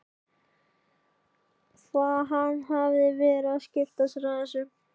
Hvað hafði hann verið að skipta sér af þessu?